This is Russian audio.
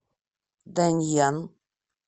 даньян